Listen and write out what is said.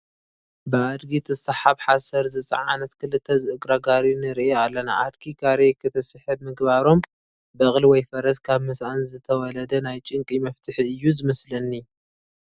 ብኣድጊ ትስሓብ ሓሰር ዝፀዓነት ክልተ ዝእግራ ጋሪ ንርኢ ኣለና፡፡ ኣድጊ ጋሪ ክትስሕብ ምግባሮም በቕሊ ወይ ፈረስ ካብ ምስአን ዝተወለደ ናይ ጭንቂ መፍትሒ እዩ ዝመስለኒ፡፡